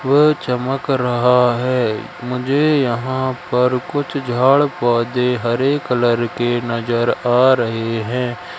वह चमक रहा है मुझे यहां पर कुछ झाड़ पौधे हरे कलर के नजर आ रहे हैं।